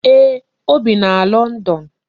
Eeh, o bi na London